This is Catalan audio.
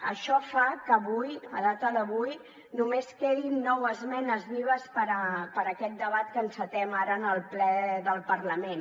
això fa que avui a data d’avui només quedin nou esmenes vives per a aquest debat que encetem ara en el ple del parlament